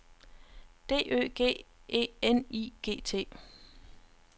D Ø G E N I G T